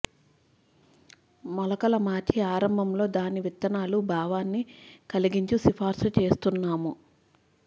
మొలకల మార్చి ఆరంభంలో దాని విత్తనాలు భావాన్ని కలిగించు సిఫార్సు చేస్తున్నాము